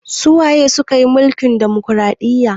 Su waye suka yi mulkin ɗumukraɗiya?